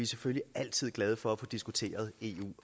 selvfølgelig altid glade for at få diskuteret eu